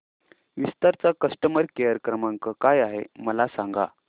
विस्तार चा customer care क्रमांक काय आहे मला सांगा